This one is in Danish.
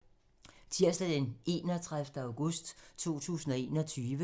Tirsdag d. 31. august 2021